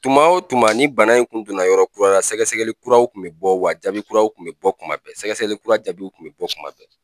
Tuma o tuma ni bana in kun donna yɔrɔ kura la , sɛgɛgɛli kuraw kun bɛ bɔ wa jaabi kuraw kun bɛ bɔ kuma bɛɛ ,sɛgɛsɛgɛli kura jaabiw kun bɛ bɔ kuma bɛɛ.